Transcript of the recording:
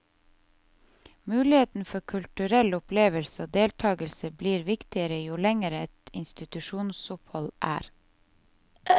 Mulighet for kulturell opplevelse og deltakelse blir viktigere jo lenger et institusjonsopphold er.